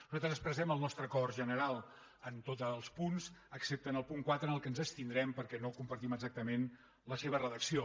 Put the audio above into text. nosaltres expressem el nostre acord general en tots els punts excepte en el punt quatre en què ens abstindrem perquè no compartim exactament la seva redacció